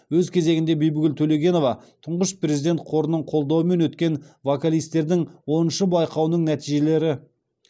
өз кезегінде бибігүл төлегенова тұңғыш президент қорының қолдауымен өткен вокалистердің оныншы байқауының нәтижелері